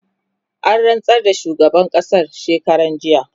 an rantsar da shugaban ƙasan shekaran jiya